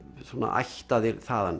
ættaðir þaðan